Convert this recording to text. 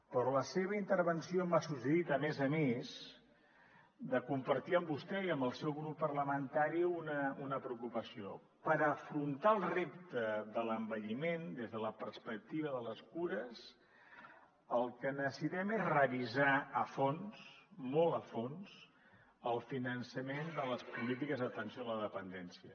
però la seva intervenció m’ha suggerit a més a més compartir amb vostè i amb el seu grup parlamentari una preocupació per afrontar el repte de l’envelliment des de la perspectiva de les cures el que necessitem és revisar a fons molt a fons el finançament de les polítiques d’atenció a la dependència